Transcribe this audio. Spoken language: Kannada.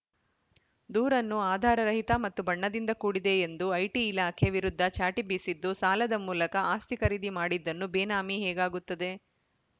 ದೂರನ್ನು ಆಧಾರರಹಿತ ಮತ್ತು ಬಣ್ಣದಿಂದ ಕೂಡಿದೆ ಎಂದು ಐಟಿ ಇಲಾಖೆ ವಿರುದ್ಧ ಚಾಟಿ ಬೀಸಿದ್ದು ಸಾಲದ ಮೂಲಕ ಆಸ್ತಿ ಖರೀದಿ ಮಾಡಿದ್ದನ್ನು ಬೇನಾಮಿ ಹೇಗಾಗುತ್ತದೆ